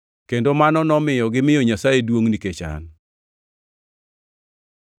Kendo mano nomiyo gimiyo Nyasaye duongʼ nikech an.